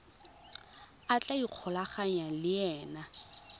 a tla ikgolaganyang le ena